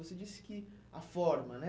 Você disse que a forma, né?